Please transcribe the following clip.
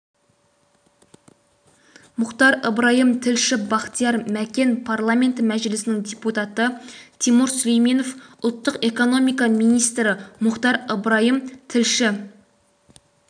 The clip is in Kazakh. мұхтар ыбырайым тілші бақтияр мәкен парламенті мәжілісінің депутаты тимур сүлейменов ұлттық экономика министрі мұхтар ыбырайым тілші